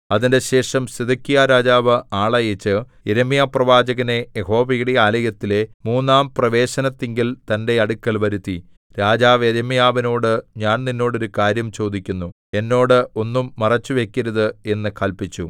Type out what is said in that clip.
അതിന്‍റെശേഷം സിദെക്കീയാരാജാവ് ആളയച്ച് യിരെമ്യാപ്രവാചകനെ യഹോവയുടെ ആലയത്തിലെ മൂന്നാം പ്രവേശനത്തിങ്കൽ തന്റെ അടുക്കൽ വരുത്തി രാജാവ് യിരെമ്യാവിനോട് ഞാൻ നിന്നോട് ഒരു കാര്യം ചോദിക്കുന്നു എന്നോട് ഒന്നും മറച്ചുവയ്ക്കരുത് എന്ന് കല്പിച്ചു